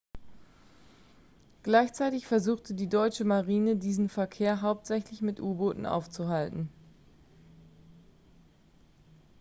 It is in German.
gleichzeitig versuchte die deutsche marine diesen verkehr hauptsächlich mit u-booten aufzuhalten